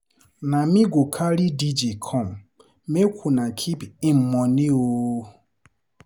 Na me go carry DJ come, make una keep im moni o.